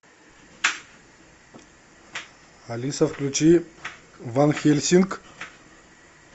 алиса включи ван хельсинг